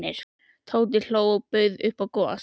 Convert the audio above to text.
Tóti hló og bauð upp á gos.